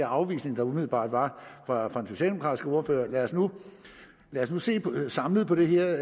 afvisning der umiddelbart var fra den socialdemokratiske ordfører lad os nu se samlet på det her